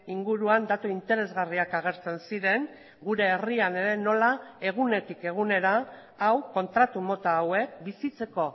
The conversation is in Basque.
inguruan datu interesgarriak agertzen ziren gure herrian ere nola egunetik egunera hau kontratu mota hauek bizitzeko